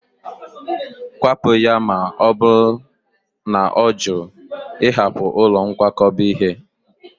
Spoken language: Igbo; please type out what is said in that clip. Kwapụ ya, ma ọ bụrụ na ọ jụ ịhapụ ụlọ nkwakọba ihe